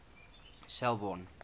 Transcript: selborne